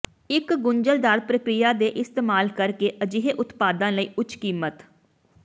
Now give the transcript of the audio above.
ਇੱਕ ਗੁੰਝਲਦਾਰ ਪ੍ਰਕਿਰਿਆ ਦੇ ਇਸਤੇਮਾਲ ਕਰਕੇ ਅਜਿਹੇ ਉਤਪਾਦਾਂ ਲਈ ਉੱਚ ਕੀਮਤ